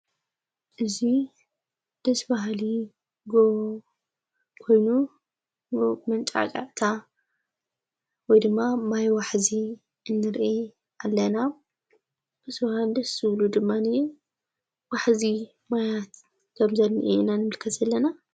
እዙይ ድስባሃሊ ኮይኑ መንጣዕቓቕታ ወድማ ማይ ዋሕዙ እንርአ ኣለና ብስውሃድ ስብሉ ድማንእዩ ዋሕዚ ማያት ከም ዘልኒ ኢና ንምልከት ዘለና።